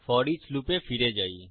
foreach লুপে ফিরে যাই